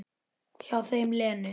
Hjá þeim Lenu.